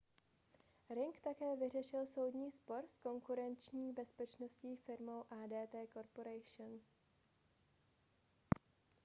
ring také vyřešil soudní spor s konkurenční bezpečnostní firmou adt corporation